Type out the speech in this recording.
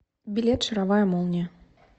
билет шаровая молния